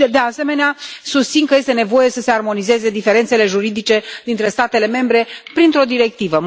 De asemenea, susțin că este nevoie să se armonizeze diferențele juridice dintre statele membre printr o directivă.